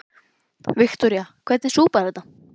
Viktoría: Hvernig súpa er þetta?